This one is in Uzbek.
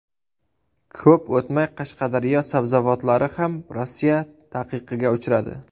Ko‘p o‘tmay Qashqadaryo sabzavotlari ham Rossiya taqiqiga uchradi .